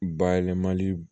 Bayɛlɛmali